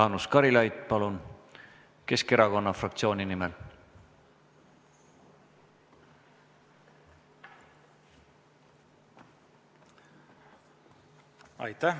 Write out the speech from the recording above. Jaanus Karilaid, palun, Keskerakonna fraktsiooni nimel!